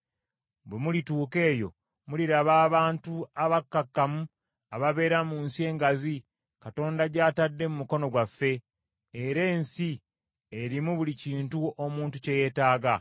Bwe mulituuka eyo muliraba abantu abakkakkamu ababeera mu nsi engazi, Katonda gy’atadde mu mukono gwammwe, era nsi erimu buli kintu omuntu kye yeetaaga.”